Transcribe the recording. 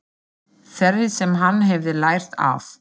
Þeirri sem hann hefði lært af.